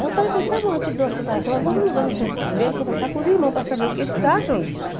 Aí eu falei para ele, está bom, eu te dou a separação, mas vamos lá no centro primeiro conversar com os irmãos para saber o que eles acham disso.